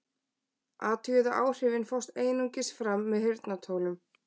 Athugið að áhrifin fást einungis fram með heyrnartólum.